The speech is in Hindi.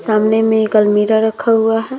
सामने में एक अलमीरा रखा हुआ है।